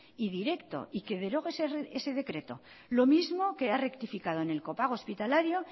y directo y que derogue ese decreto lo mismo que ha rectificado en el copago hospitalario